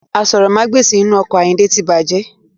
Aṣórómagbesìn inu ọkọ̀ ayinde tí bàjẹ́.